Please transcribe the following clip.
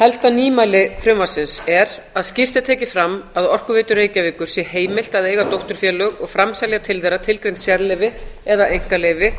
helsta nýmæli frumvarpsins er að skýrt er tekið fram að orkuveitu reykjavíkur sé heimilt að eiga dótturfélög og framselja til þeirra tilgreind sérleyfi eða einkaleyfi